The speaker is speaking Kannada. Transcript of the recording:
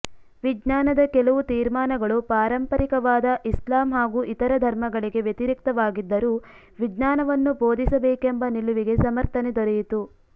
ವಿಜ್ಞಾನದ ಕೆಲವು ತೀರ್ಮಾನಗಳು ಪಾರಂಪರಿಕವಾದ ಇಸ್ಲಾಮ್ ಹಾಗೂ ಇತರ ಧರ್ಮಗಳಿಗೆ ವ್ಯತಿರಿಕ್ತವಾಗಿದ್ದರೂ ವಿಜ್ಞಾನವನ್ನು ಬೋಧಿಸಬೇಕೆಂಬ ನಿಲುವಿಗೆ ಸಮರ್ಥನೆ ದೊರೆಯಿತು